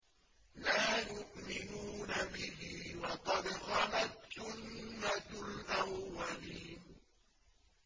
لَا يُؤْمِنُونَ بِهِ ۖ وَقَدْ خَلَتْ سُنَّةُ الْأَوَّلِينَ